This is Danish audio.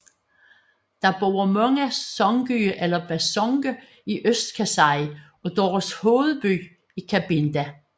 Der bor mange Songye eller Basonge i Øst Kasaï og deres hovedby er Kabinda